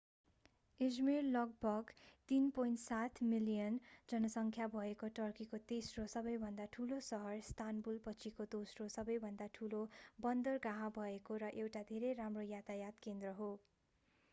Izmir लगभग 3.7 million जनसंख्या भएको टर्कीको तेस्रो सबैभन्दा ठूलो सहर इस्तानबुलपछिको दोस्रो सबैभन्दा ठूलो बन्दरगाह भएको र एउटा धेरै राम्रो यातायात केन्द्र हो